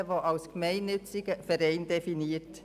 Diese sind als gemeinnütziger Verein definiert.